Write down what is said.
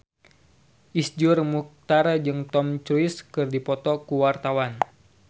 Iszur Muchtar jeung Tom Cruise keur dipoto ku wartawan